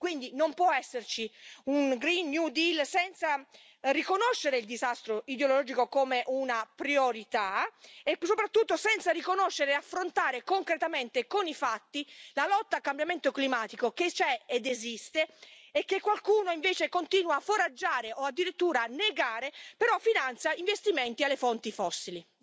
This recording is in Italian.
Quindi non può esserci un green new deal senza riconoscere il disastro idrogeologico come una priorità, e soprattutto senza riconoscere e affrontare concretamente con i fatti la lotta al cambiamento climatico, che c'è ed esiste, e che qualcuno, invece, continua a foraggiare o addirittura negare, però finanzia investimenti alle fonti fossili.